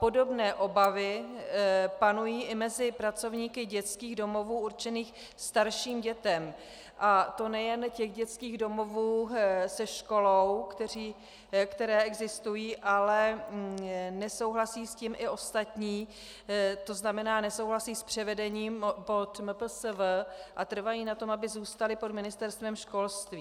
Podobné obavy panují i mezi pracovníky dětských domovů určených starším dětem, a to nejen těch dětských domovů se školou, které existují, ale nesouhlasí s tím i ostatní, to znamená nesouhlasí s převedením pod MPSV a trvají na tom, aby zůstaly pod Ministerstvem školství.